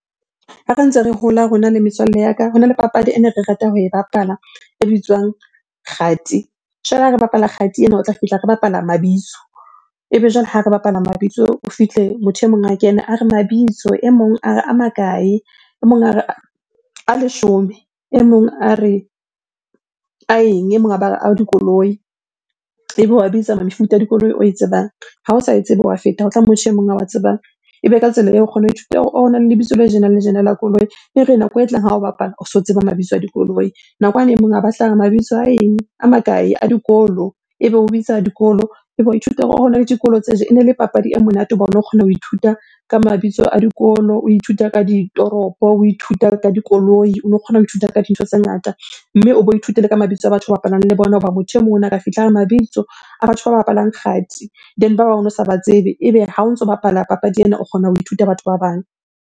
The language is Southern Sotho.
Ha re ntse re hola rona le metswalle ya ka, hona le papadi ene re rata ho e bapala e bitswang kgati. Jwale ha re bapala kgati ena, o tla fihla re bapala mabitso. Ebe jwale ha re bapala mabitso o fihle motho e mong a kena a re, mabitso e mong a re a makae? E mong a re, a leshome. E mong a re, a eng? E mong a ba re, a dikoloi. Ebe o wa bitsa mefuta ya dikoloi oe tsebang. Ha o sa e tsebe wa feta, ho tla e mong a wa tsebang. Ebe ka tsela eo o kgona ho ithuta hore oh! Hona le lebitso le tjena le le tjena la koloi. E re nako e tlang ha o bapala, o so tseba mabitso a dikoloi. Nakwane e mong a ba hlaha, mabitso a eng? A makae? A dikolo, ebe o bitsa dikolo, ebe wa ithuta hore oh! Hona le dikolo tje. Ene le papadi e monate hobane o kgona ho ithuta ka mabitso a dikolo, o ithuta ka ditoropo, o ithuta ka dikoloi, o no kgona ho ithuta ka dintho tse ngata. Mme o bo ithute le ka mabitso a batho ba bapalang le bona hoba motho e mong ona a ka fihla a re mabitso a batho ba bapalang kgati. Then ba bang o no sa ba tsebe, ebe ha o ntso bapala papadi ena o kgona ho ithuta batho ba bang.